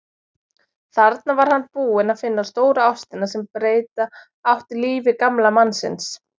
Þarna var hann búinn að finna stóru ástina sem breyta átti lífi gamla mannsins.